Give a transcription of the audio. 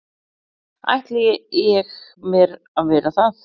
ætli ég mér að vera það.